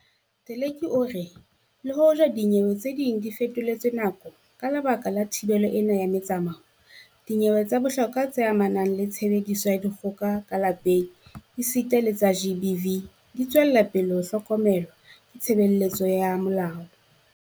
Teleki o re le hoja dinyewe tse ding di fetoletswe nako ka lebaka la thibelo ena ya metsamao, dinyewe tsa bohlokwa tse amanang le tshebediso ya dikgoka ka lapeng esita le tsa GBV di tswela pele ho hlokomelwa ke tshebeletso ya molao.